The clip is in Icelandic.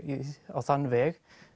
á þann veg